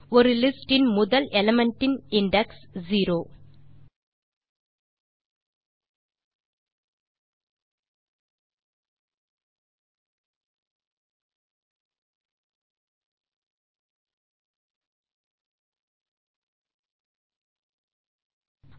ஒரு லிஸ்ட் இன் முதல் எலிமெண்ட் இன் இண்டெக்ஸ் 0